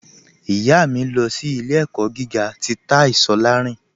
Ìyá mi, lọ sí ilẹ̀-ẹ̀kọ́ gígà tì Táí Sòláìrìn.